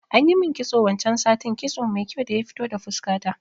Anyi min kitso wancan satin, kitso mai kyau daya fito da fuska ta